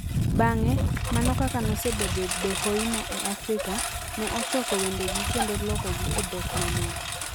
Bang'e, mana kaka nosebedo Dohoimo e Afrika, ne ochoko wendegi kendo lokogi e dhok mamoko.